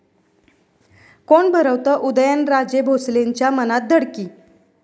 कोण भरवतं उदयनराजे भोसलेंच्या मनात धडकी?